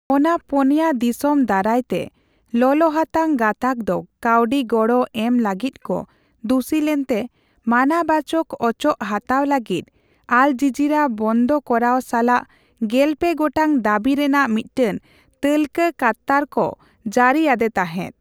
ᱚᱱᱟ ᱯᱩᱱᱭᱟ ᱫᱤᱥᱚᱢ ᱫᱟᱨᱟᱭᱛᱮ ᱞᱚᱞᱚᱦᱟᱛᱟᱝ ᱜᱟᱛᱟᱜ ᱫᱚ ᱠᱟᱣᱰᱤ ᱜᱚᱲᱚ ᱮᱢ ᱞᱟᱹᱜᱤᱫ ᱠᱚ ᱫᱩᱥᱤ ᱞᱮᱱᱛᱮ, ᱢᱟᱱᱟᱵᱟᱪᱚᱠ ᱚᱪᱚᱜ ᱦᱟᱛᱟᱣ ᱞᱟᱹᱜᱤᱫ ᱟᱞ ᱡᱤᱡᱤᱨᱟ ᱵᱚᱱᱫᱚ ᱠᱚᱨᱟᱣ ᱥᱟᱞᱟᱜ ᱜᱮᱞᱯᱮ ᱜᱚᱴᱟᱝ ᱫᱟᱹᱵᱤ ᱨᱮᱱᱟᱜ ᱢᱤᱫᱴᱟᱝ ᱛᱟᱹᱞᱠᱟᱹ ᱠᱟᱛᱟᱨᱠᱚ ᱡᱟᱹᱨᱤ ᱟᱫᱮ ᱛᱟᱦᱮᱫ ᱾